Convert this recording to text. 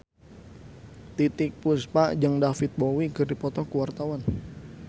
Titiek Puspa jeung David Bowie keur dipoto ku wartawan